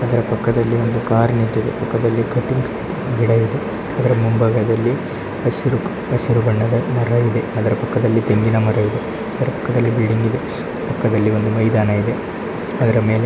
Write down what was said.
ಇದರ ಪಕ್ಕದಲ್ಲಿ ಒಂದು ಕಾರ್ ನಿಟ್ಟಿದೆ ಪಕ್ಕದಲ್ಲಿ ಗಿಡ ಇದೆ ಇದರ ಮುಂಭಾಗದಲ್ಲಿ ಹಸಿರು ಬಣ್ಣದ ಮರ ಇದೆ. ಅವರ ಪಕ್ಕದಲ್ಲಿ ತೆಂಗಿನ ಮರ ಇದೆ ಅದರ ಪಕ್ಕದಲ್ಲಿ ಬಿಲ್ಡಿಂಗ್ ಇದೆ ಪಕ್ಕದಲ್ಲಿ ಮೈದಾನ ಇದೆ ಅದರ ಮೇಲೆ--